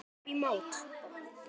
Upp í mót.